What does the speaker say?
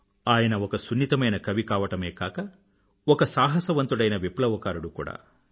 ఆయన ఒక సున్నితమైన కవి కావడమే కాక ఒక సాహసవంతుడైన విప్లవకారుడు కూడా